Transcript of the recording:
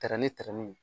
Tɛrɛ ni tɛrɛmu ye